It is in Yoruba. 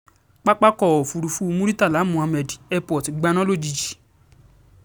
pápákọ̀ òfurufú muritala muhammed airport gbaná lójijì